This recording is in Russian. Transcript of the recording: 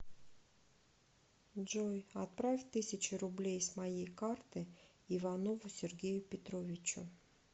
джой отправь тысячу рублей с моей карты иванову сергею петровичу